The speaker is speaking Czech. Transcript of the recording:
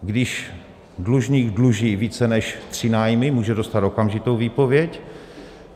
Když dlužník dluží více než tři nájmy, může dostat okamžitou výpověď.